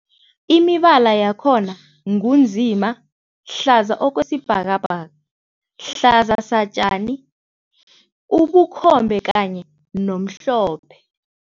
Imibala yakhona ngunzima, hlaza okwesibhakabhaka, hlaza satjani, ubukhobe kanye nomhlophe.